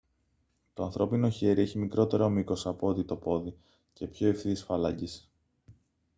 το ανθρώπινο χέρι έχει μικρότερο μήκος από ό,τι το πόδι και πιο ευθείες φάλαγγες